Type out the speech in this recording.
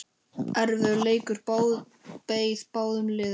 Erfiður leikur beið báðum liðum.